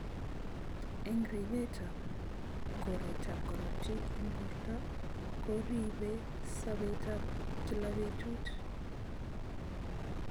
Eng ribet ab koret ab korotik eng borto koribei sabet ab kila betut.